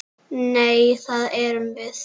Nei, það erum við.